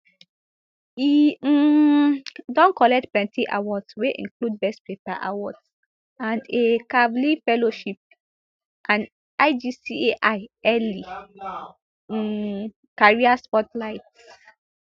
e um don collect plenty awards wey include best paper awards and a kavli fellowship an ijcai early um career spotlight